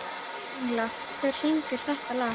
Engla, hver syngur þetta lag?